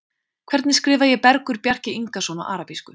Hvernig skrifa ég Bergur Bjarki Ingason á arabísku?